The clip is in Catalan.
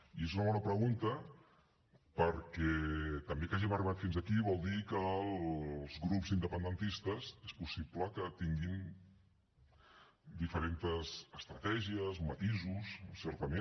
i és una bona pregunta perquè també que hàgim arribat fins aquí vol dir que els grups independentistes és possible que tinguin diferentes estratègies matisos certament